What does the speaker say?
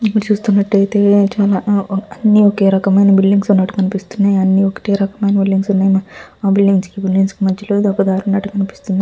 ఇక్కడ చూస్తున్నట్టయితే చాలా అన్ని ఒకే రకమైన బిల్డింగ్స్ ఉన్నటు కనిపిస్తున్నాయి. అన్ని ఒకటే రకమైన బిల్డింగ్స్ ఉన్నాయ్. ఆ బిల్డింగ్స్ కి బిల్డింగ్స్ కి మధ్యలో ఇదొక దారి ఉన్నట్టు కనిపిస్తుంది.